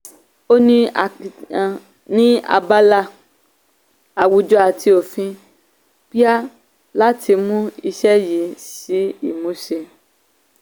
ó ní akitiyan ní abala àwùjọ àti òfin pia láti mú iṣẹ́ yìí sí ìmúṣẹ.